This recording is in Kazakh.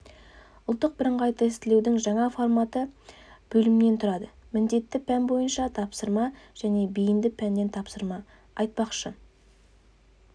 ұлттық бірыңғай тестілеудің жаңа форматы бөлімнен тұрады міндетті пән бойынша тапсырма және бейінді пәннен тапсырма айтпақшы